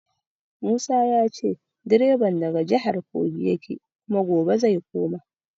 Musa ya ce direban daga jihar Kogi yake kuma gobe zai koma.